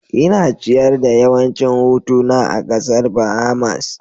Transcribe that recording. Ina ciyar da yawancin hutuna a kasar Bahamas